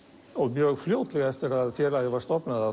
mjög fljótlega eftir að félagið var stofnað